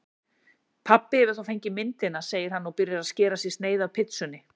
Pabbi hefur þá fengið myndina, segir hann og byrjar að skera sér sneið af pitsunni.